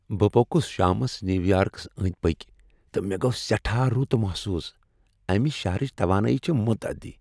بہٕ پوٚکُس شامس نیو یارکس أندۍ پٔکۍ تہٕ مےٚ گو سیٹھاہ رُت محسوس۔ امِہ شہرٕچ توانٲیی چھےٚ متعدی ۔